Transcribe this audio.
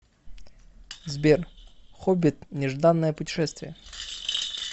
сбер хоббит нежданное путешествие